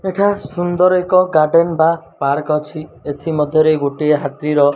ଏଠା ସୁନ୍ଦର୍ ଏକ ଗାର୍ଡେନ ବା ପାର୍କ ଅଛି ଏଥି ମଧ୍ୟ ରେ ଗୋଟେ ହାତୀ ର --